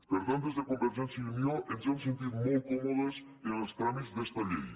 per tant des de convergència i unió ens hem sentit molt còmodes amb els tràmits d’esta llei